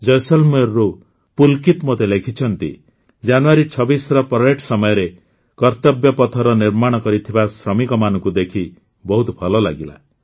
ଜୈସଲମେରରୁ ପୁଲକିତ ମୋତେ ଲେଖିଛନ୍ତି ଯେ ଜାନୁଆରୀ ୨୬ର ପରେଡ୍ ସମୟରେ କର୍ତ୍ତବ୍ୟ ପଥର ନିର୍ମାଣ କରିଥିବା ଶ୍ରମିକମାନଙ୍କୁ ଦେଖି ବହୁତ ଭଲ ଲାଗିଲା